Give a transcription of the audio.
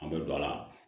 An bɛ don a la